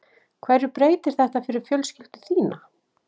Hverju breytir þetta fyrir fjölskyldu þína?